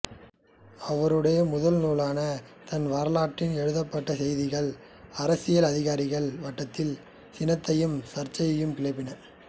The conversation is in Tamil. அவருடைய முதல் நூலான தன் வரலாற்றில் எழுதப்பட்ட செய்திகள் அரசியல் அதிகாரிகள் வட்டத்தில் சினத்தையும் சர்ச்சையையும் கிளப்பின